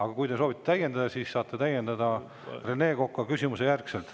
Aga kui te soovite täiendada, siis saate täiendada Rene Koka küsimuse järgselt.